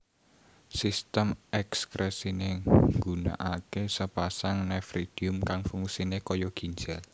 Sistem ekskresiné ngunakaké sapasang nefridium kang fungsiné kaya ginjal